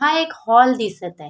हा एक हॉल दिसत आहे.